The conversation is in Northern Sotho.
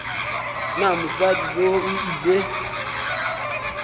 na mosadi yoo o ile